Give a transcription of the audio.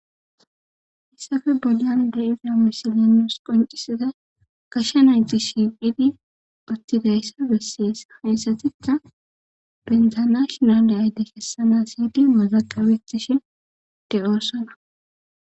hissafe boyan de iza mishilinos qoncisida gasha nayxi shiiqidi uttidayssa bessiyes. haysatitha bendzanashinadeyayde kessana siyydi mozaqawetishi de'oosana